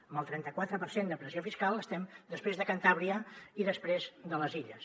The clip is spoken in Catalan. amb el trenta quatre per cent de pressió fiscal estem després de cantàbria i després de les illes